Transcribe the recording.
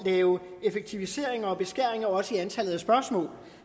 lave effektiviseringer og beskæringer også i antallet af spørgsmål